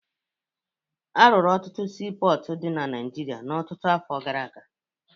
Arụrụ ọtụtụ siipọọtụ dị na Naịjirịa ọtụtụ afọ gara aga